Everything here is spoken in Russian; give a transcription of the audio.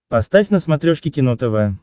поставь на смотрешке кино тв